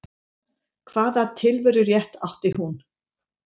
Hvaða tilverurétt átti hún?